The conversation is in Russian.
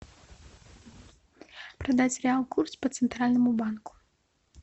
продать реал курс по центральному банку